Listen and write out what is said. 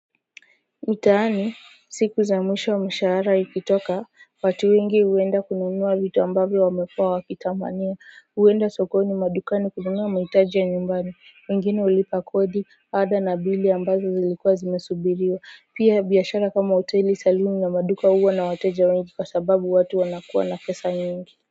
Mtaani, siku za mwisho mshahara ikitoka, watu wengi huenda kununua vitu ambavyo wamekua wakitamania, huenda sokoni madukani kununua mahitaji ya nyumbani, wengine hulipa kodi, ada na bili ambazo zilikuwa zimesubiriwa pia biashara kama hoteli saluni na maduka huwa na wateja wengi kwa sababu watu wanakuwa na pesa nyingi.